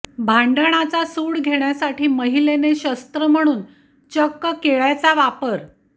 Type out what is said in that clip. भांडणाचा सूड घेण्यासाठी महिलेने शस्त्र म्हणून चक्क केळ्याचा वापर